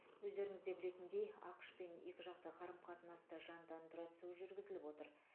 өздеріңізде білетіндей ақш пен екіжақты қарым қатынасты жандандыра түсу жүргізіліп жатыр